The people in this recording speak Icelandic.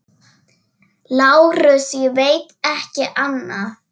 LÁRUS: Ég veit ekki annað.